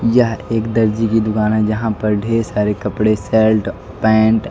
यह एक दर्जी की दुकान है जहां पर ढेर सारे कपड़े सर्ट पैंट --